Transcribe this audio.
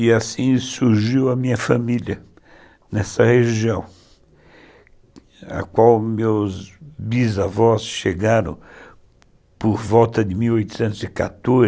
E assim surgiu a minha família nessa região, a qual meus bisavós chegaram por volta de mil oitocentos e quatorze